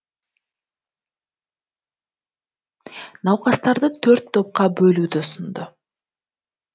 науқастарды төрт топқа бөлуді ұсынды